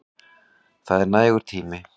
Það er nægur tími.